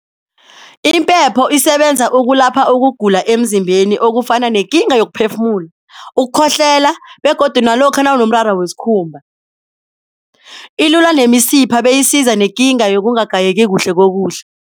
Impepho isebenza ukulapha ukugula emzimbeni okufana nekinga yokuphefumula, ukukhohlela begodu nalokha nawunomraro wesikhumba, ilula nemisipha beyisiza nekinga yokungagayeki kuhle kokudla.